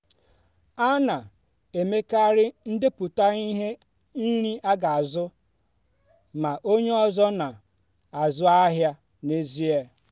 a na-emekarị ndepụta ihe nri aga azu ma onye ọzọ na-azụ ahịa n'ezie.